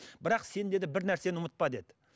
бірақ сен деді бір нәрсені ұмытпа деді